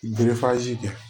kɛ